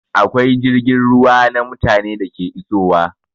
Akwai jirgin ruwa na mutane da ke isowa